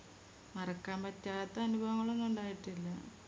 മറക്കാൻ പറ്റാത്ത അനുഭവങ്ങളൊന്നും ഉണ്ടായിട്ടില്ല